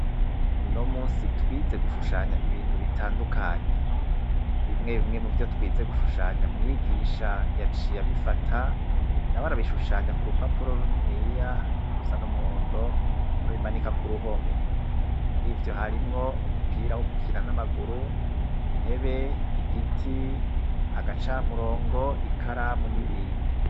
Uno munsi twize gushushanya ibintu bitandukanye. Bimwe bimwe mu vyo twize gushushanya, mwigisha yaciyabifata na barabishushanya ku rupapuro runini ya rusa n'umuhondo wo bimanika ku ruhome. Muri ivyo harimwo umupira wo guhira n'amaguru intebe igiti agacamurongo ikaramu n'ibindi.